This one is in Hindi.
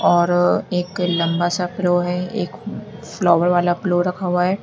और एक लंबा सा प्लो है एक फ्लावर वाला प्लो रखा हुआ है।